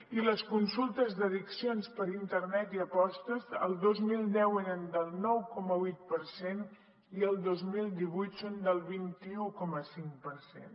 i les consultes d’addiccions per internet i apostes el dos mil deu eren del nou coma vuit per cent i el dos mil divuit són del vint un coma cinc per cent